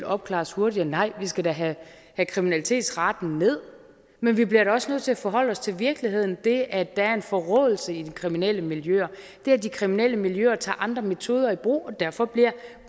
opklares hurtigere nej vi skal da have kriminalitetsraten ned men vi bliver da også nødt til at forholde os til virkeligheden det at der er en forråelse i de kriminelle miljøer det at de kriminelle miljøer tager andre metoder i brug og derfor bliver